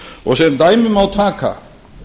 og sem dæmi má taka